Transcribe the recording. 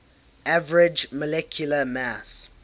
average molecular mass